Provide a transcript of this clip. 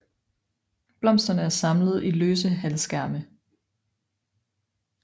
Blomsterne er samlet i løse halvskærme